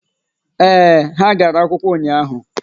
ee, ha gara akwụkwọ ụnyaahụ.